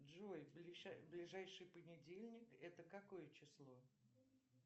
джой ближайший понедельник это какое число